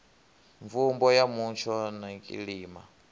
mvumbo ya mutsho na kilima